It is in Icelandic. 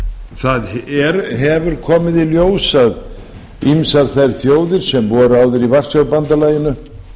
það hefur komið í ljós að ýmsar þær þjóðir sem voru í varsjárbandalaginu